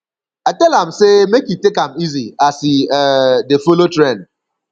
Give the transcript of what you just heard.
i tell am sey make e take am easy as e um dey folo trend